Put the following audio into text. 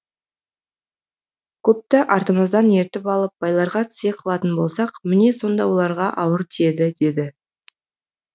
көпті артымыздан ертіп алып байларға тізе қылатын болсақ міне сонда оларға ауыр тиеді деді